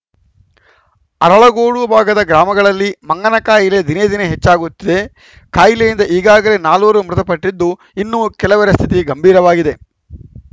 ಅರಳಗೋಡು ಭಾಗದ ಗ್ರಾಮಗಳಲ್ಲಿ ಮಂಗನಕಾಯಿಲೆ ದಿನೇ ದಿನೇ ಹೆಚ್ಚಾಗುತ್ತಿದೆ ಕಾಯಿಲೆಯಿಂದ ಈಗಾಗಲೇ ನಾಲ್ವರು ಮೃತಪಟ್ಟಿದ್ದು ಇನ್ನೂ ಕೆಲವರ ಸ್ಥಿತಿ ಗಂಭೀರವಾಗಿದೆ